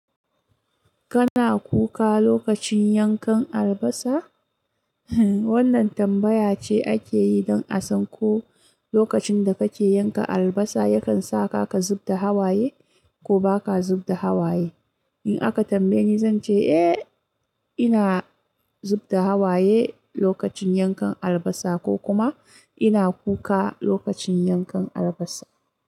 Kana kuka lokacin yankan albasa? Wannan tambaya ce ake yi don a san ko lokacin da kake yanka albasa yakan sa ka ka zub da hawaye, ko ba ka zub da hawaye. In aka tambaye ni zan ce eh, ina zub da hawaye lokacin yankan albasa ko kuma, ina kuka lokacin yankan albasa.